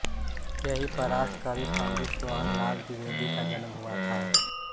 यहीं पर राष्ट्र कवि पंडित सोहन लाल द्विवेदी का जन्म हुआ था